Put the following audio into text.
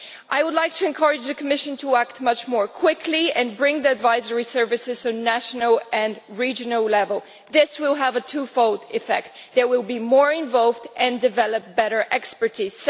I would like to encourage the Commission to act much more quickly and to bring the advisory services to national and regional level. This will have a twofold effect they will be more involved and develop better expertise.